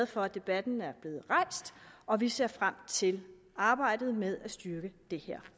for at debatten er blevet rejst og vi ser frem til arbejdet med at styrke det her